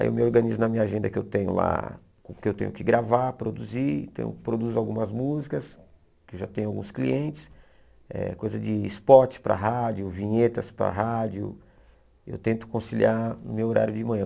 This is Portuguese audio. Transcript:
Aí eu me organizo na minha agenda que eu tenho lá, que eu tenho que gravar, produzir, então eu produzo algumas músicas, que eu já tenho alguns clientes, eh coisa de spot para rádio, vinhetas para rádio, eu tento conciliar no meu horário de manhã.